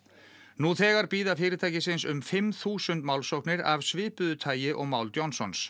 nú þegar bíða fyrirtækisins um fimm þúsund málsóknir af svipuðu tagi og mál Johnsons